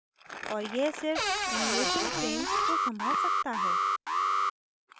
और यह सिर्फ animation frames को संभाल सकता है